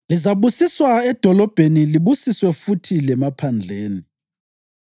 Lizabusiswa edolobheni libusiswe futhi lemaphandleni.